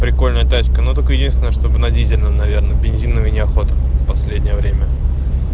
прикольная тачка но только единственное чтобы на дизельном наверное бензиновый неохота последнее время